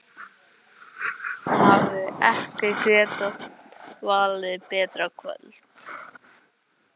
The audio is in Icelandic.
Hann hefði ekki getað valið betra kvöld.